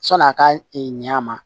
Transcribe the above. Sɔn'a ka ɲɛ ma